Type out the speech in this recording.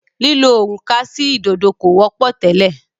lílo òrùka sí ìdodo kò wọ́pọ̀ tẹ́lẹ̀.